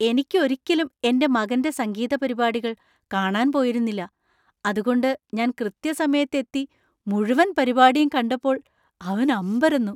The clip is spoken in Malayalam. എനിക്ക് ഒരിക്കലും എന്‍റെ മകന്‍റെ സംഗീതപരിപാടികൾ കാണാൻ പോയിരുന്നില്ല , അതുകൊണ്ട് ഞാൻ കൃത്യസമയത്ത് എത്തി മുഴുവൻ പരിപാടിയും കണ്ടപ്പോൾ അവൻ അമ്പരന്നു.